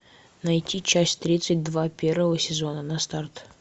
найти часть тридцать два первого сезона на старт